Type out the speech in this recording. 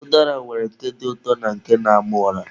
Ụdara nwere nke dị ụtọ na nke na-ama ụra.